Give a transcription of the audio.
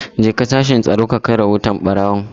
Jeka sashin Tsaro ka kai rahoton barawon!